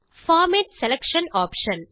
format selection option